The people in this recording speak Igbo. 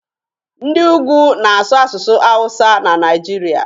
Ndị ugwu na-asụ asụsụ hawusa na Naijiria.